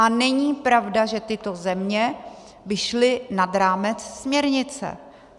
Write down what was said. A není pravda, že tyto země by šly nad rámec směrnice.